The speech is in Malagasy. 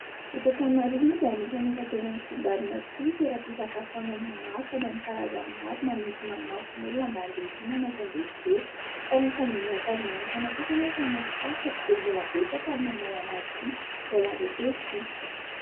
Eto Antananarivo moa dia anisan'ny efa tena misongadina tokoa ny toeram-pisakafoanana maro sady amin'ny karazany maro manintona ny mason'ny olona mba handeha hihinana sy andeha hijery. Fa raha ny fandinihiko azy manokana kosa anefa any amin'ny faritra tsy dia mbola betsaka ny manao an'azy ity, mbola azo atao hoe vitsy.